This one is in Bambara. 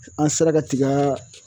An sera ka tiga